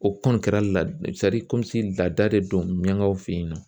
O kɔni kɛra lad sadi laada de don miyaŋaw fe yen nɔ